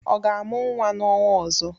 Ọ ga-amụ nwa n'ọnwa ọzọ.